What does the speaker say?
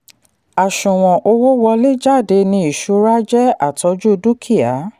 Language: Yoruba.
àṣùwọ̀n owó wọlé/jáde ni ìṣura jẹ́ àtọ́jú dúkìá.